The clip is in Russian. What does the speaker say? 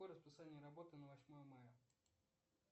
какое расписание работы на восьмое мая